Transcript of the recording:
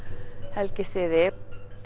helgisiði